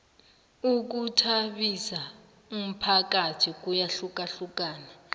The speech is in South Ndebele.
ukhuthabisa umphakathi kuyahlukahlukana